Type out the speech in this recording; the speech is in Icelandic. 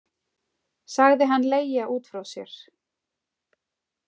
Sagði hann leigja út frá sér.